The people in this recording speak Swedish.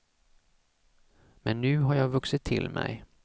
Men nu har jag vuxit till mig.